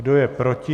Kdo je proti?